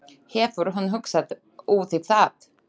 Hefur hún hugsað út í það?